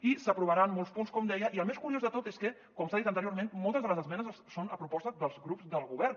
i s’aprovaran molts punts com deia i el més curiós de tot és que com s’ha dit anteriorment moltes de les esmenes són a proposta dels grups del govern